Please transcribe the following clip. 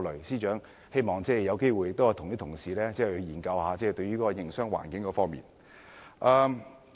司長，希望你有機會多與議員研究一下營商環境的問題。